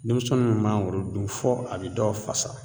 Denmisɛnnu min mangoro dun fɔ a bi dɔw fasa